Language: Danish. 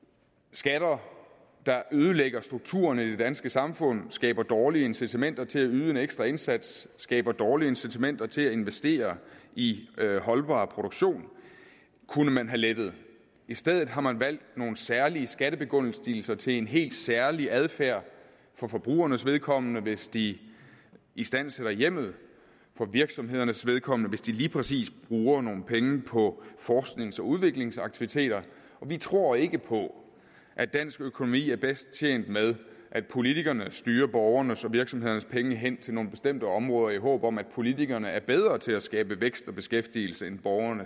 skatter der ødelægger strukturen i det danske samfund skaber dårlige incitamenter til at yde en ekstra indsats skaber dårlige incitamenter til at investere i holdbar produktion kunne man have lettet i stedet har man valgt nogle særlige skattebegunstigelser til en helt særlig adfærd for forbrugernes vedkommende hvis de istandsætter hjemmet for virksomhedernes vedkommende hvis de lige præcis bruger nogle penge på forsknings og udviklingsaktiviteter vi tror ikke på at dansk økonomi er bedst tjent med at politikerne styrer borgernes og virksomhedernes penge hen til nogle bestemte områder i håb om at politikerne er bedre til at skabe vækst og beskæftigelse end borgere